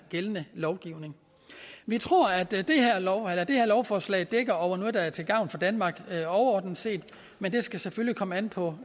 gældende lovgivning vi tror at det her lovforslag dækker over noget der er til gavn for danmark overordnet set men det skal selvfølgelig komme an på